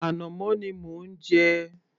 Ànàmọ́ ni mò ń jẹ